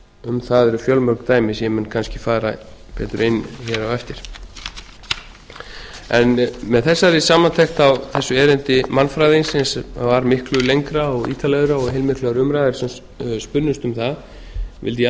um það eru fjölmörg dæmi sem ég mun kannski fara betur yfir hér á eftir með þessari samantekt á þessu erindi mannfræðingsins sem var miklu lengra og ítarlegra og heilmiklar umræður sem spunnust um það vildi ég